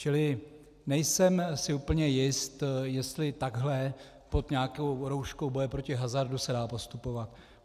Čili nejsem si úplně jist, jestli takhle pod nějakou rouškou boje proti hazardu se dá postupovat.